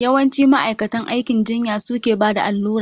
Yawanci ma'aikatan aikin jinya su ke bada allura